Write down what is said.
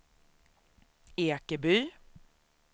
Ekeby